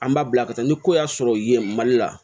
An b'a bila ka taa ni ko y'a sɔrɔ yen mali la